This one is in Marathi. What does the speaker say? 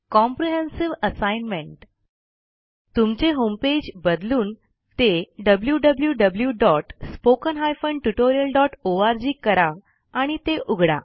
कॉम्प्रिहेन्सिव्ह असाइनमेंट तुमचे होमपेज बदलून ते wwwspoken tutorialorg करा आणि ते उघडा